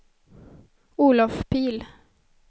Olov Pihl